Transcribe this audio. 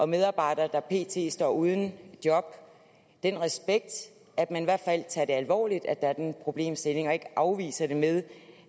medarbejdere der pt står uden job den respekt at man i hvert fald tager det alvorligt at der er den problemstilling og ikke afviser det med